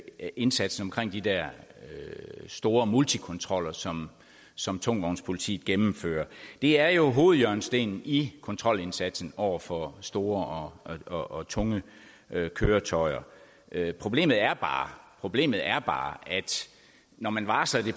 indsatsen omkring de der store multikontroller som som tungvognspolitiet gennemfører det er jo hovedhjørnestenen i kontrolindsatsen over for store og tunge køretøjer problemet er problemet er bare at når man varsler det